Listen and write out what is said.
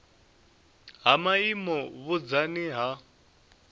ha maimo na vhunzani ha